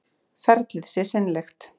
Ferlið sé seinlegt